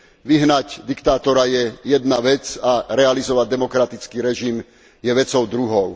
Vyhnať diktátora je jedna vec a realizovať demokratický režim je vecou druhou.